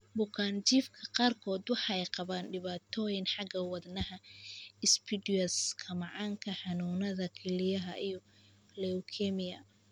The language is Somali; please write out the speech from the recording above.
Bukaanjiifka qaarkood waxa ay qabaan dhibaatooyin xagga wadnaha ah, insipidus-ka macaanka, xanuunada kelyaha iyo leukemia.